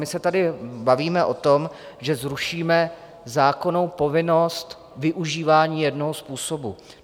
My se tady bavíme o tom, že zrušíme zákonnou povinnost využívání jednoho způsobu.